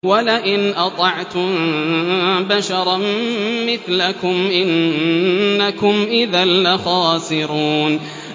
وَلَئِنْ أَطَعْتُم بَشَرًا مِّثْلَكُمْ إِنَّكُمْ إِذًا لَّخَاسِرُونَ